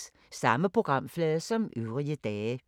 Samme programflade som øvrige dage